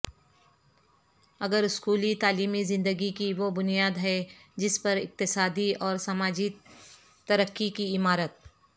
اگراسکولی تعلیمی زندگی کی وہ بنیاد ہے جس پر اقتصادی اور سماجی ترقی کی عمارت